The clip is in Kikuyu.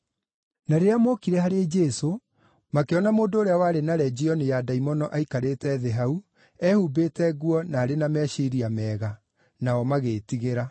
Na rĩrĩa mookire harĩ Jesũ, makĩona mũndũ ũrĩa warĩ na Legioni ya ndaimono aikarĩte thĩ hau, ehumbĩte nguo na arĩ na meciiria mega; nao magĩĩtigĩra.